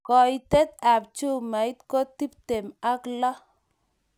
Koitet ab chumait ko tiptem ak loo